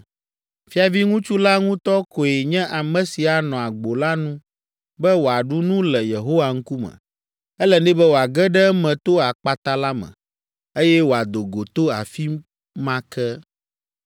Fiaviŋutsu la ŋutɔ koe nye ame si anɔ agbo la nu be wòaɖu nu le Yehowa ŋkume. Ele nɛ be wòage ɖe eme to akpata la me, eye wòado go to afi ma ke.”